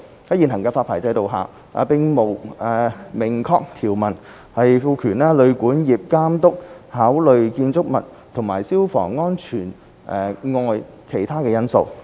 在現行發牌制度下，並無明確條文賦權旅館業監督考慮建築物和消防安全外的其他因素。